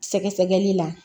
Sɛgɛsɛgɛli la